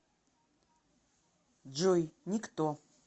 джой никто